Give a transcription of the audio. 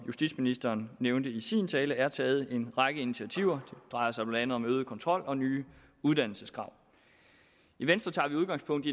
justitsministeren nævnte i sin tale er taget en række initiativer det drejer sig blandt andet om øget kontrol og nye uddannelseskrav i venstre tager vi udgangspunkt